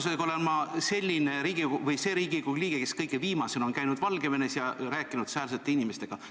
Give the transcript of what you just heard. Suure tõenäosusega olen mina see Riigikogu liige, kes on kõige viimasena käinud Valgevenes ja rääkinud sealsete inimestega.